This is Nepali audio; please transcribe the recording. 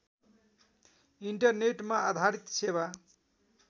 इन्टरनेटमा आधारित सेवा